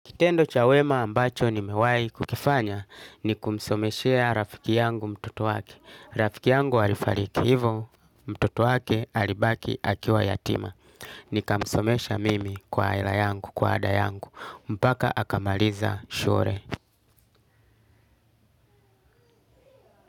Kitendo cha wema ambacho nimewahi kukifanya ni kumsomeshea rafiki yangu mtoto wake. Rafiki yangu alifariki hivo, mtoto wake alibaki akiwa yatima. Nikamsomesha mimi kwa hela yangu, kwa ada yangu. Mpaka akamaliza shule.